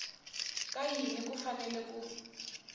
ka yini ku fanele ku